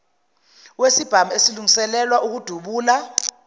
wesibhamu esilungiselelwa ukudubula